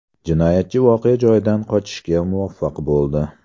Jinoyatchi voqea joyidan qochishga muvaffaq bo‘ldi.